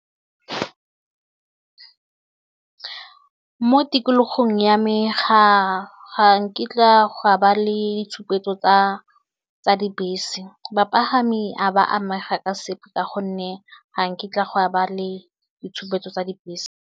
Mo tikologong ya me ga nkitla go a ba le ditshupetso tsa tsa dibese bapagami a ba amega ka sepe ka gonne ga nkitla gwa ba le ditshupetso tsa dibese.